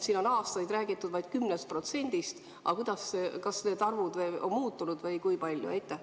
Siin on aastaid räägitud vaid 10%-st, aga kuidas tegelikult on, kas need arvud on muutunud ja kui palju?